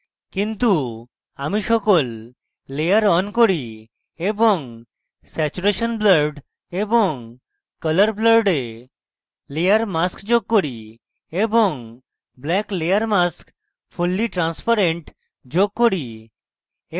কিন্তু আমি সকল layer on করি এবং saturation blurred এবং colour blurred a layer mask যোগ করি এবং black layer mask fully transparent যোগ করি